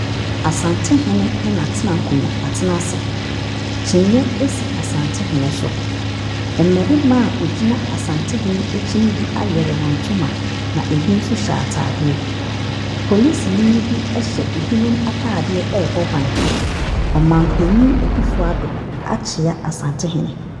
Asantehene ne atena konya atena ae. Kyiniiɛ asi Asantehene ɛso. Mmarima a wogyina Asantehene akyi ne bi awere wɔn ntoma. Na ebi nso hyɛ ataadeɛ. Polisini bi ɛhyɛ n'adwuma mu ataadeɛ ɛbɔ ban. Ɔmanpanyin Akuffo Addo akyia Asantehene.